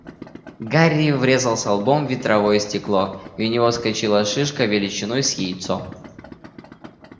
гарри врезался лбом в ветровое стекло и у него вскочила шишка величиной с яйцо